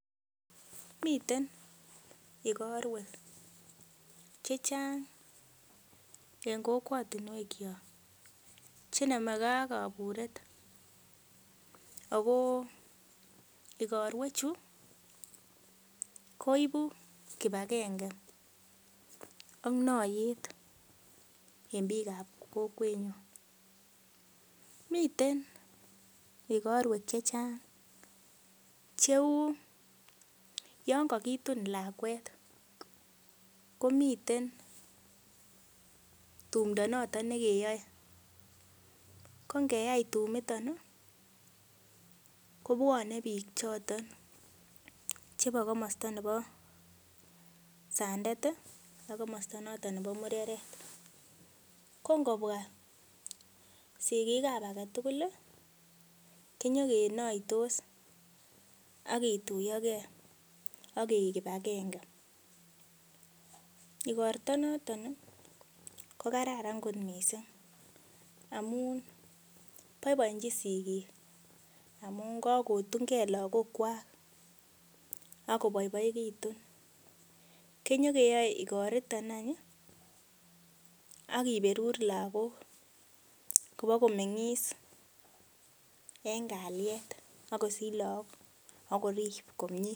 Miten igorwek chechang en kokwotinwekyok chenomekee ak kabureet agoo igorwechu koipu kipakenge ak noiyet en biikab kokwenyun, miten igorwek chechang cheu yon kokitun lakwet komiten tumndoo noton nekeyoe, kongeyai tumito kobwone biik choton chebo komosta nebo sandet ii ak komosta noton nebo mureret, kongobwa sikikab agetugul ii kinyokenoitos akinyokituiyo gee ak keik kipakenge ,igorta noton kokararan kot miissing amun boiboenjin sigik amun kakotungee lagokwak akoboiboekitu kinyokeyoe igoriton any akiberur lagok kobo komeng'is en kalyet akosich laak akorip komie.